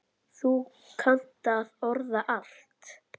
Þú kannt að orða allt.